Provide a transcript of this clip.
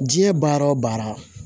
Diɲɛ baara wo baara